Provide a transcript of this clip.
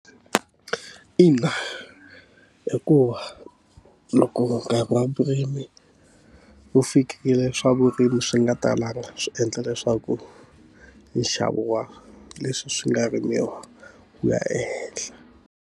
Ina hikuva loko nkarhi wa vurimi wu fikile swa vurimi swi nga talanga, swi endla leswaku nxavo wa leswi swi nga rimiwa ku ya ehenhla.